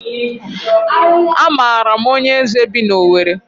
A maara m onye eze bi n'Owere.